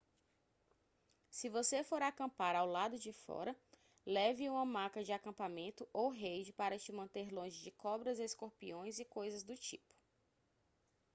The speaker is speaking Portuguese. se você for acampar do lado de fora leve uma maca de acampamento ou rede para te manter longe de cobras escorpiões e coisas do tipo